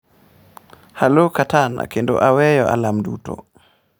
"""Alo katana kendo aweyo alarm duto."""